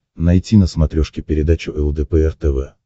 найти на смотрешке передачу лдпр тв